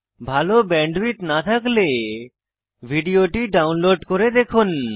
ভাল ব্যান্ডউইডথ না থাকলে ভিডিওটি ডাউনলোড করে দেখুন